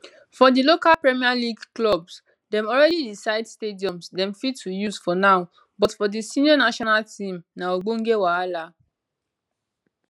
for di local premier league clubs dem already decide stadiums dem fit to use for now but for di senior national team na ogbonge wahala